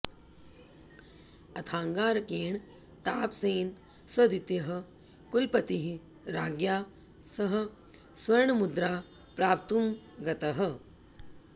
अथाङ्गारकेण तापसेन सद्वितीयः कुलपतिः राज्ञा सह स्वर्णमुद्रा प्राप्तुं गतः